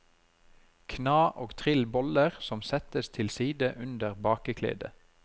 Kna og trill boller som settes til side under bakeklede.